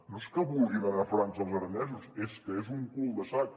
no és que vulguin anar a frança els aranesos és que és un cul de sac